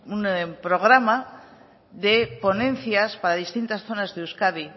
un programa de ponencias para distintas zonas de euskadi